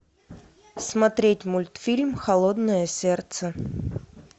смотреть мультфильм холодное сердце